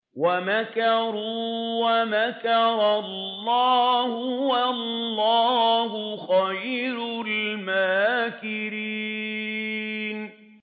وَمَكَرُوا وَمَكَرَ اللَّهُ ۖ وَاللَّهُ خَيْرُ الْمَاكِرِينَ